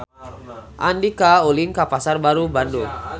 Andika ulin ka Pasar Baru Bandung